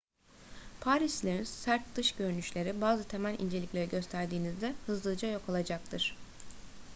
parislilerin sert dış görünüşleri bazı temel incelikleri gösterdiğinizde hızlıca yok olacaktır